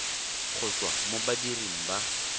go tswa mo badiring ba